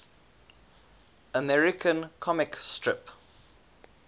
american comic strip